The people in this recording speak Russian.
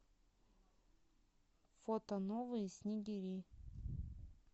фото новые снегири